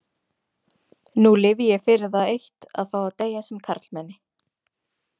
Nú lifi ég fyrir það eitt að fá að deyja sem karlmenni.